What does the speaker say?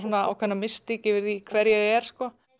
ákveðna mystík yfir því hver ég er